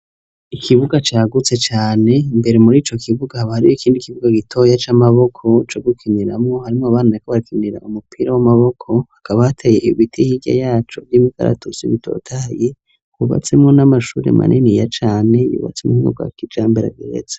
Ikibuga cagutse cane, mbere muri ico kibuga, hakaba hariyo ikindi kibuga gitoya c'amaboko co gukiniramwo, harimwo abana bariko bikinira umupira w'amaboko, hakaba hateye ibiti hirya yaco vy'imikaratusi bitotahaye, hubatsemwo n'amashuri maniniya cane yubatse muburyo bwa kijambere igiretse.